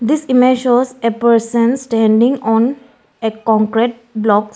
This image shows a person standing on a concrete block.